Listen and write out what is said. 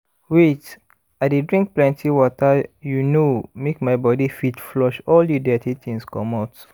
wait i dey drink plenty water you know make my body fit flush all the dirty things comot